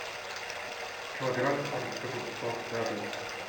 килограмм огурцов на дом